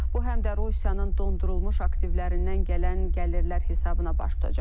Bu həm də Rusiyanın dondurulmuş aktivlərindən gələn gəlirlər hesabına baş tutacaq.